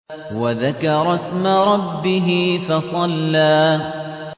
وَذَكَرَ اسْمَ رَبِّهِ فَصَلَّىٰ